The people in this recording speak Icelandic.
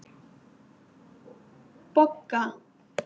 Bogga